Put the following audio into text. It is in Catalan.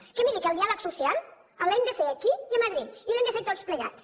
perquè miri el diàleg social l’hem de fer aquí i a madrid i l’hem de fer tots plegats